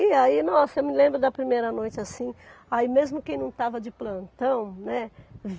E aí, nossa, eu me lembro da primeira noite assim, aí mesmo quem não estava de plantão, né?